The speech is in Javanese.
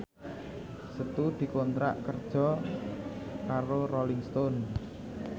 Setu dikontrak kerja karo Rolling Stone